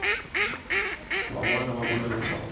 van wana va vula leswaku